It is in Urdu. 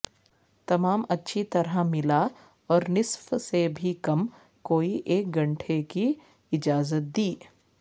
تمام اچھی طرح ملا اور نصف سے بھی کم کوئی ایک گھنٹے کی اجازت دی